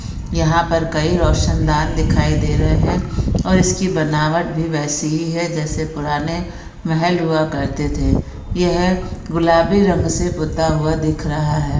यहा पर कई रोशन-दान दिखाई दे रहैं है और इसकी बनावट भी वेसी ही है जैसे पुराने महल हुआ करते थे। यह गुलाबी रंग से पूता हुआ दिख रहा है।